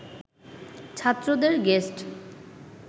ছাত্রদের গেস্ট